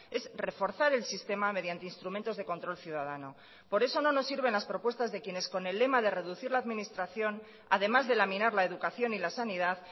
es reforzar el sistema mediante instrumentos de control ciudadano por eso no nos sirven las propuestas de quienes con el lema de reducir la administración además de laminar la educación y la sanidad